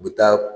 U bɛ taa